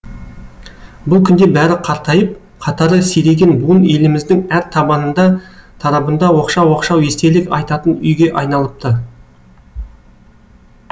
бұл күнде бәрі қартайып қатары сиреген буын еліміздің әр табанында тарабында оқшау оқшау естелік айтатын үйге айналыпты